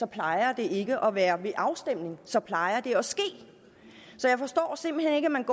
plejer det ikke at være ved afstemning så plejer det at ske så jeg forstår simpelt hen ikke at man